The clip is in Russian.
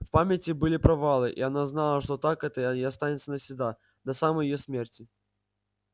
в памяти были провалы и она знала что так это и останется навсегда до самой её смерти